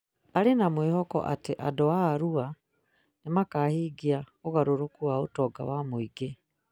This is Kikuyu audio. Aarĩ na mwĩhoko atĩ andũ a Arua nĩ makaahingia ũgarũrũku wa ũtonga wa mũingĩ